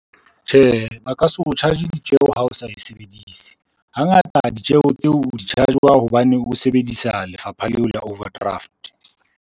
Tjhe, ba ka se o charge ditjeo ha o sa e sebedise, hangata ditjeho tseo o di-charge-wa hobane o sebedisa lefapha leo la overdraft.